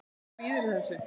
Kvíðirðu þessu?